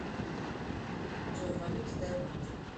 джой валюта таиланд